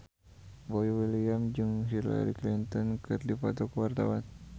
Boy William jeung Hillary Clinton keur dipoto ku wartawan